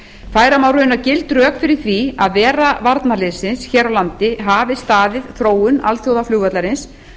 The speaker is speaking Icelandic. færa má raunar gild rök fyrir því að vera varnarliðsins hér á landi hafi staðið þróun alþjóðaflugvallarins